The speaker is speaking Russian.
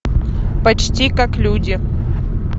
почти как люди